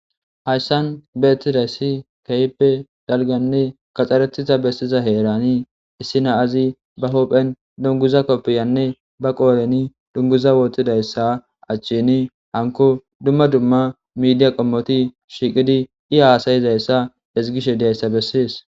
Hayssan beettidayssi kayppe dalganne kaxxaretita bessiza heerani issina azi ba hopphen dunguza koppiyanne ba qooleni dunguza wootidayssa achchini hanko dumma dumma midiya qommoti shiqidi i haasayizayssa hezgishe diayssa bessis.